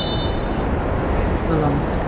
Dauður höfrungur dreginn á land